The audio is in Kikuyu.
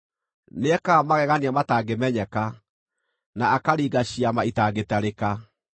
Nĩekaga magegania matangĩmenyeka, na akaringa ciama itangĩtarĩka.